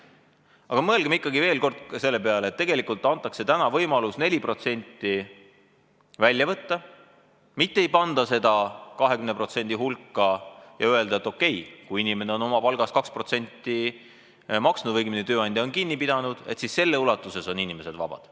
Aga mõelgem ikkagi veel kord ka selle peale, et tegelikult antakse täna võimalus 4% välja võtta, mitte ei panda seda 20% hulka ega öelda, et okei, kui inimene on oma palgast 2% maksnud, õigemini, tööandja on kinni pidanud, siis selles ulatuses on inimesed vabad.